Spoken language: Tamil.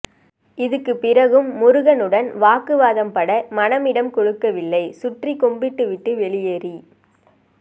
இதுக்கு பிறகும் முருகனுடன் வாக்குவாதப்பட மனம் இடம் கொடுக்கவில்லை சுற்றி கும்பிட்டுவிட்டு வெளியேறி